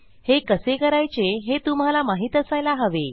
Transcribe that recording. हे कसे करायचे हे तुम्हाला माहीत असायला हवे